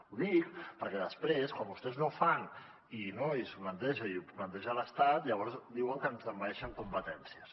ho dic perquè després quan vostès no fan no i s’ho planteja i ho planteja l’estat llavors diuen que ens envaeixen competències